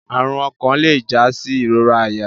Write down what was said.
Arun okan le ja si irora aya